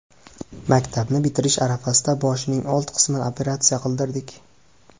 Maktabni bitirishi arafasida boshining old qismini operatsiya qildirdik.